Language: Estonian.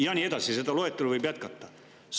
Ja nii edasi, seda loetelu võib jätkata.